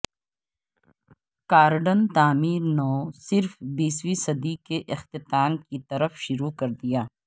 garden تعمیر نو صرف بیسویں صدی کے اختتام کی طرف شروع کر دیا